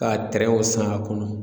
Ka tɛrɛnw san a kɔnɔ